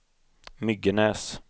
Myggenäs